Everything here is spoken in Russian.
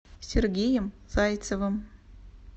сергеем зайцевым